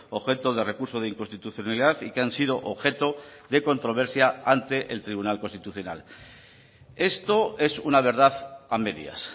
objeto de recurso de inconstitucionalidad y que han sido objeto de controversia ante el tribunal constitucional esto es una verdad a medias